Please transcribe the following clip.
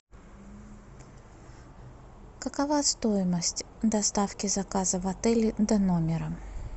какова стоимость доставки заказа в отеле до номера